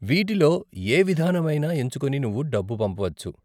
వీటిలో యే విధానం అయినా ఎంచుకొని నువ్వు డబ్బు పంపవచ్చు.